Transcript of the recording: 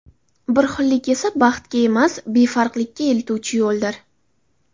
Bir xillik esa baxtga emas, befarqlikka eltuvchi yo‘ldir.